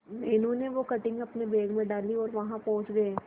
मीनू ने वो कटिंग अपने बैग में डाली और वहां पहुंच गए